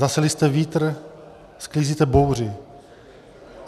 Zaseli jste vítr, sklízíte bouři.